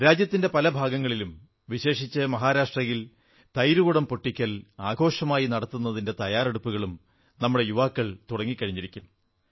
രാജ്യത്തിന്റെ പല ഭാഗങ്ങളിലും വിശേഷിച്ചും മഹാരാഷ്ട്രയിൽ തൈർകുടം പൊട്ടിക്കൽ ആഘോഷമായി നടത്തുന്നതിന്റെ തയ്യാറെടുപ്പുകളും നമ്മുടെ യുവാക്കൾ തുടങ്ങിക്കഴിഞ്ഞിരിക്കും